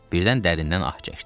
Birdən dərindən ah çəkdi.